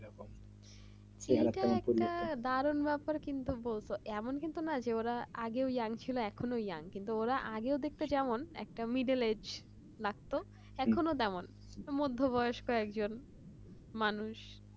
এমন কিন্তু নোই যে ওরা আগে young ছিল এখনো ওরা young আগেও দেখতে কেমন একটা লাগতো এখনো তেমন মধ্যবয়স্ক একজন মানুষ